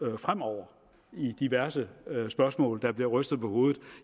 lo fremover i diverse spørgsmål der bliver rystet på hovedet